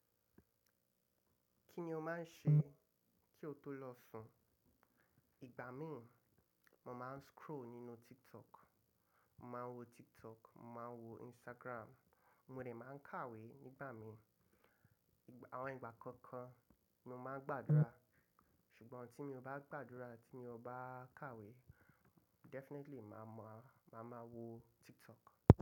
Kí ni o máa ń ṣe kí o tó lọ sùn? Ìgbà mí, mo máa ń scroll nínú TikTok, mo máa ń wo TikTok, mo máa ń wo Instagram, mo dẹ̀ máa ń kàwé nígbà mi. Àwọn ìgbà kọ̀ọ̀kan ni mo máa ń gbàdúrà, ṣùgbọ́n tí mo bá gbàdúrà àti tí mo bá kàwé, definitely màá mọ, màá máa wo TikTok.